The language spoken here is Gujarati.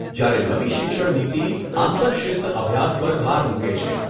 જ્યારે નવી શિક્ષણ નીતિ આંતરશિસ્ત અભ્યાસ પર ભાર મુકે છે.